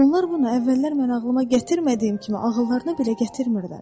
Onlar bunu əvvəllər mən ağlıma gətirmədiyim kimi, ağıllarına belə gətirmirlər.